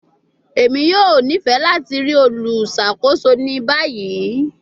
Emi yoo nifẹ lati rii oluṣakoso ni bayi